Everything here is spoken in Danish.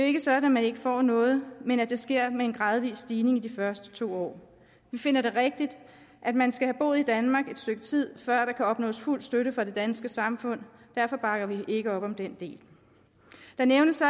ikke sådan at man ikke får noget men at det sker med en gradvis stigning i de første to år vi finder det rigtigt at man skal have boet i danmark et stykke tid før der kan opnås fuld støtte fra det danske samfund derfor bakker vi ikke op om den del det nævnes så